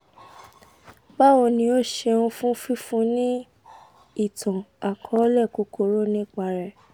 bawo ni o ṣeun fun fifunni ni itan-akọọlẹ kukuru nipa rẹ